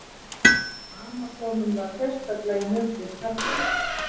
Amasónum var sérstaklega í nöp við karlmenn.